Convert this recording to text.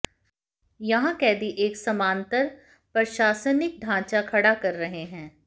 यहां कैदी एक समानांतर प्रशासनिक ढांचा खड़ा कर रहे हैं